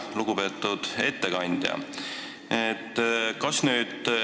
Lugupeetud ettekandja!